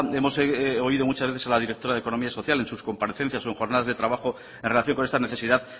hemos oído muchas veces que la directora de economía y social en sus comparecencias o en jornadas de trabajo en relación con esta necesidad